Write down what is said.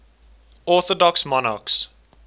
orthodox monarchs